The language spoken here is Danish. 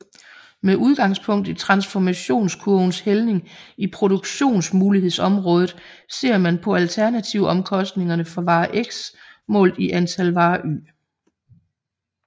Med udgangspunkt i transformationskurvens hældning i produktionsmulighedsområdet ser man på alternativomkostningerne for vare x målt i antal vare y